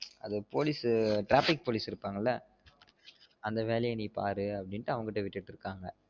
அது police சு traffic police இருப்பாங்கள அந்த வேலாய நீ பார்னு அவன்கிட்ட விட்டுட்டு இருக்காங்க